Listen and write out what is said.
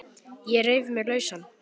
Ég reif mig lausan.